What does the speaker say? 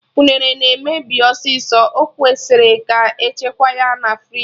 Unere na-emebi ọsịsọ, ọ kwesịrị ka echekwa ya na friji